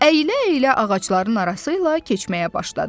Əylə-əylə ağacların arası ilə keçməyə başladı.